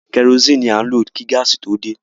Kẹrosini ní à ń lo kí gáàsì tó dé.